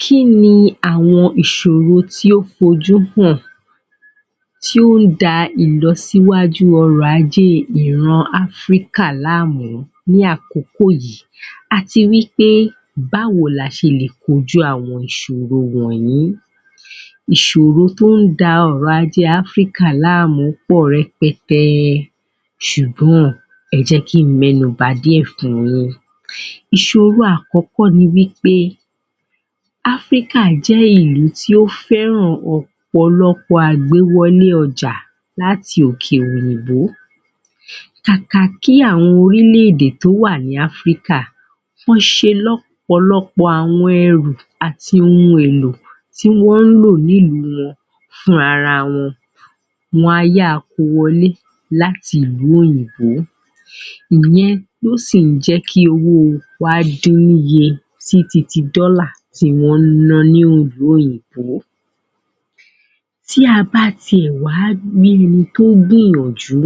Kí ni àwọn ìṣòro tí ó fojú hàn tí ó ń da ìlọsíwájú ọrọ̀ ajé ìran Africa láàmú ní àkókò yìí àti wí pé báwo ni a ṣe lè kojú àwọn ìṣòro wọ̀nyí? Ìṣòro tó ń da ọrọ̀ ajé ilẹ̀ Africa láàmú pọ̀ rẹpẹtẹ ṣùgbọ́n ẹ jẹ́ kí n mẹ́nu ba díẹ̀ fun yín Ìṣòro àkọ́kọ́ ni wí pé, africa jẹ́ ìlú tí ó fẹ́ràn ọ̀pọ̀lọpọ̀ àgbéwọlé ọjà láti òkè èèbó Kàkà kí àwọn orílẹ̀-èdè tó wà ní Africa kí wọ́n ṣe ọ̀pọ̀lọpọ̀ àwọn ẹrù àti ohun èlò tí wọ́n ń lò ní ìlú wọn fún ara wọn wón á yáa ko wọlé láti ìlú òyìnbó òwò epo sì ń mú kí owó wa dín ní iye sí titi dọ́là tí wọ́n ń ná ní ìlú òyìnbó Tí a bá tiẹ̀ wá ni kò gbìyànjú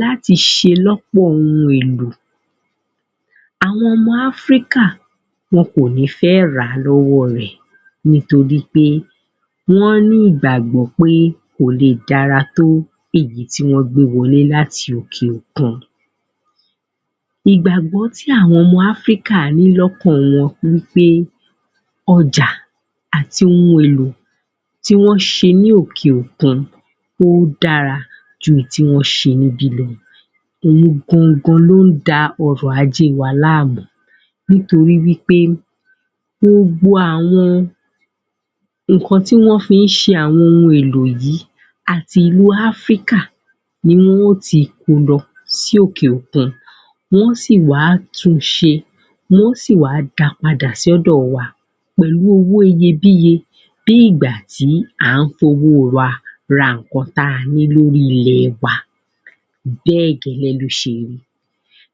láti ṣe lọ́pọ̀ ohun èlò àwọn ọmọ Africa wọn ò ní fẹ́ ràá lọ́wọ́ rẹ̀ nítorí pé wọ́n ní ìgbàgbọ́ pé kò lè dára tó èyí tí wọ́n gbé wọlé láti òkè òkun ìgbàgbọ́ tí àwọn ọmọ Africa ní lọ́kaln wọn ni pé ọjà àti ohun èlò tí wọ́n ṣe ní òkè òkun, ó dára ju èyí tí wọ́n ṣe ní ibí lọ òun gangan ló ń da ọrọ̀ ajé wa láàmú nítorí wí pé gbogbo àwọn nǹkan tí wọ́n fi ń ṣe àwọn ohun èlò yìí àti ilú Africa ni wọ́n ó ti ko lọ sí òkè òkún Wọ́n ó sì wá tun ṣe, wọ́n ó sì wá da padà sí ọ̀dọ̀ wa pẹ̀lú owó iyebíye bí ìgbà tí à ń fi owó wa ra nǹkan ta ní lórí ilẹ̀ wa Bẹ́ẹ̀ gẹ́lẹ́ ló ṣe rí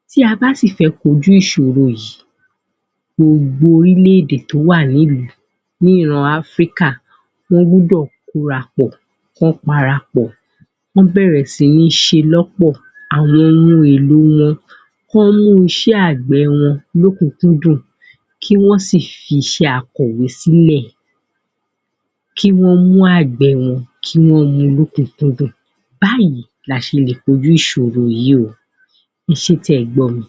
Tí a bá sil fẹ́ kojú ìṣòro yìí gbogbo orílẹ̀-èdè tó wà ní ìlú Africa, wọ́n gbúdọ̀ kórapọ̀, kí wọ́n parapọ̀ kí wọ́n bẹ̀rẹ̀ sí ní ṣe lọ́pọ̀ àwọn ohun èlò wọn kí wọ́n mú iṣẹ́ àgbẹ̀ wọn lókùńkúndùn kí wọ́n sì fi iṣẹ́ akọ̀wé sílẹ̀, kí wọ́n mú àgbẹ̀ wọn kí wọ́n mu ní òúnkúndùn Báyìí ni a ṣe lè kojú ìṣòro yìí o. ẹ ṣé tí ẹ gbọ́ mi